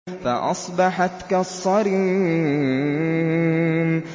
فَأَصْبَحَتْ كَالصَّرِيمِ